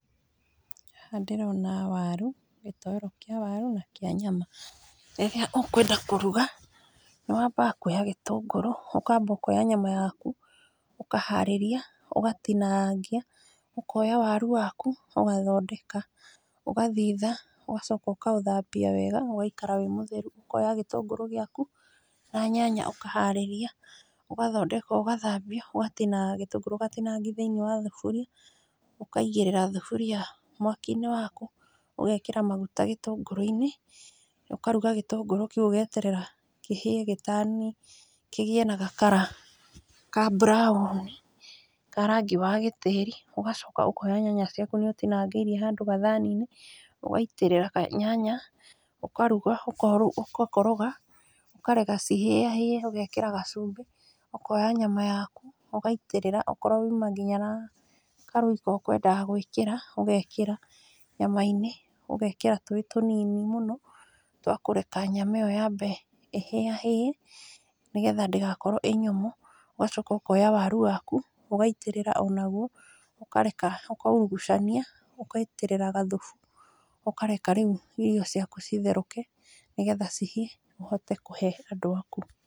Haha ndĩrona waru, gĩtowero kĩa waru na kĩa nyama, rĩrĩa ũkwenda kũruga nĩ wambaga kuoya gĩtũngũrũ ũkamba ũkoya nyama yaku, ũkaharĩrĩria ũkatinangia, ũkoya waru waku ũgathondeka, ũgathitha ũgacoka ũkaũthambia wega ũgaikara wĩ mũtheru, ũkoya gĩtũngũrũ gĩaku na nyanya ũkaharĩrĩria, ũgathondeka ũgathambia ũgati gĩtũngũrũ ũgatinangia thĩiniĩ wa thaburia , ũkaigĩrĩra thaburia mwaki-inĩ waku, ũgekĩra maguta gĩtũngũrũ-inĩ , ũkaruga gĩtũngũrũ kĩu ũgeterera kĩhĩe gĩ turn kĩgĩe na ga colour ka [cs brown, ka rangi wa gĩtĩri, ũgacoka ũkoya nyanya ciaku nĩ ũtinangĩirie handũ gathani-inĩ, ũgaitĩrĩra nyanya ũkaruga ũgakoroga , ũkareka cihĩa hĩe, ũgekĩra gacumbĩ, ũkoya nyama yaku ũgaitĩrĩra, okorwo uma nginya na karoyco ũkwendaga gwĩkĩra ũgekĩra nyama-inĩ, ũgekĩra tũĩ tũnini mũno twakũreka nyama ĩyo yambe ĩhĩahĩe, nĩgetha ndĩgakorwo ĩ nyũmũ, ũgacoka ũkoya waru waku ũkaitĩrĩra o nagwo, ũkareka ũkaũrugũcania ũgaitĩrĩra gathubu, ũkareka rĩu irio ciaku citherũke, nĩgetha cihĩe ũhote kũhe andũ aku.